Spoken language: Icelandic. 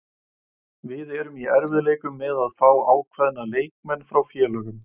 Við erum í erfiðleikum með að fá á kveðna leikmenn frá félögum.